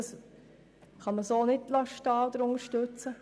Das kann man so nicht unterstützten.